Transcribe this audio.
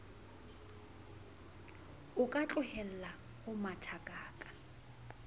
o ka tlohella ho mathakaka